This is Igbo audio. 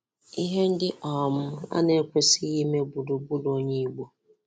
Ihe ndị um a na-ekwesịghị ime gburugburu onye Igbo.